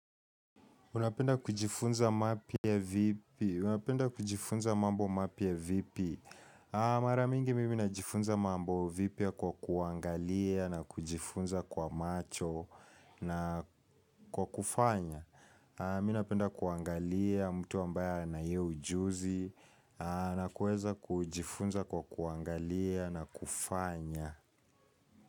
Unapenda kujifunza mapya vipi? Unapenda kujifunza mambo mapya vipi? Mara mingi mimi najifunza mambo vipya kwa kuangalia na kujifunza kwa macho na kwa kufanya. Mi napenda kuangalia mtu ambaye na hio ujuzi na kueza kujifunza kwa kuangalia na kufanya.